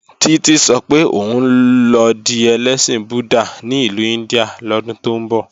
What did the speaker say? Títí sọ pé òun lọ di ẹlẹ́sìn Buddha ní ìlú India lọ́dún tó ń bọ̀